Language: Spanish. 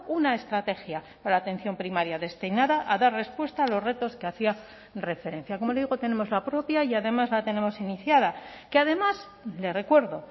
una estrategia para la atención primaria destinada a dar respuesta a los retos que hacía referencia como digo tenemos la propia y además la tenemos iniciada que además le recuerdo